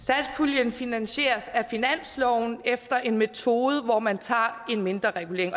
satspuljen finansieres af finansloven efter en metode hvor man tager en mindreregulering